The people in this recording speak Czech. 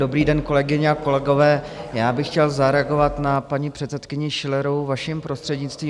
Dobrý den, kolegyně a kolegové, já bych chtěl zareagovat na paní předsedkyni Schillerovou, vaším prostřednictvím.